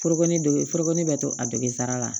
Foroko nege foroko ne bɛ to a degera